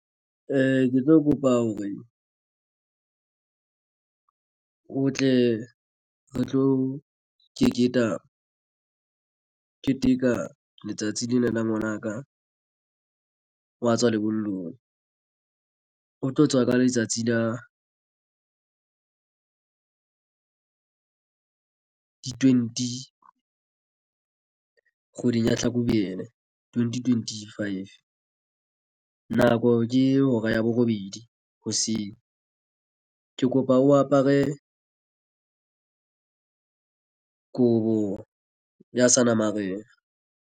Ee, ke tlo kopa hore o tle re tlo keteka letsatsi lena la ngwanaka wa tswa lebollong o tlo tswa ka letsatsi la di twenty kgweding ya Hlakubele twenty twenty five. Nako ke hora ya borobedi hoseng ke kopa o apare kobo ya Seanamarena.